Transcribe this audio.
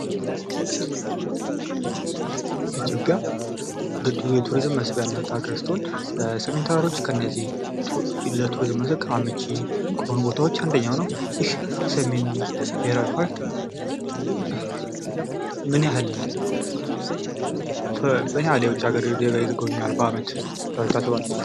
ኢትዮጵያ ቱሪስም መስህብ ያላት ሀገር ስትሆን ሰሜን ተራሮች ከነዚህ ለቱሪዝም መስህብ አመቺ ከሆኖ ቦታዎች አንደኛው ነው ። ይህ የሰሜን ብሄራዊ ፓርክ ምን ያክል የውጭ ሀገር ዜጋ ይጐበኘዋል በዓመት ብላችሁ ታስባላችሁ ?